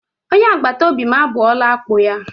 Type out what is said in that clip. Onye agbatobi m abọọla akpụ ya.